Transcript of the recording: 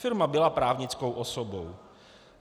Firma byla právnickou osobou.